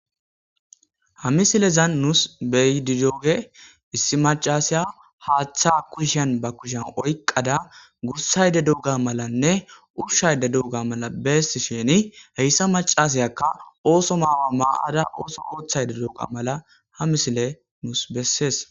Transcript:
ha misilezan nuus be7di diyooge issi macasaya haaththa kushiyan ba kushan oyqada gursayde doga malanne ushayde dooga mala beessisheni heyssa macasayakka ooso maawa maa7ada ooso oothayde dooga mala ha misile nuus bessees.